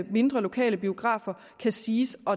mindre lokale biografer kan siges at